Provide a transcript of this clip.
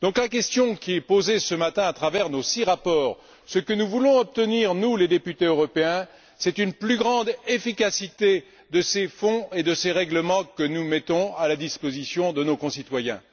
Donc, la question qui est posée ce matin à travers nos six rapports, ce que nous voulons obtenir, nous, les députés européens, c'est une plus grande efficacité de ces fonds et de ces règlements que nous mettons à la disposition de nos concitoyens.